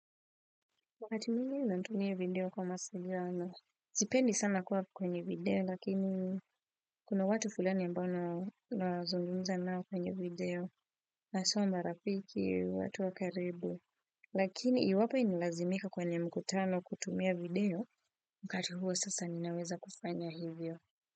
Wakati mwingi natumia video kwa mawasiliano. Sipendi sana kuwa kwenye video lakini kuna watu fulani amabao nawazungumza nao kwenye video haswa ma rafiki, watu wakaribu. Lakini iwapo inalazimika kwenye mkutano kutumia video wakati huo sasa ninaweza kufanya hivyo.